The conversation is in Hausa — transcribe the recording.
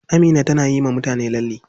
Amina tana yiwa mutane lalle.